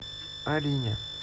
арине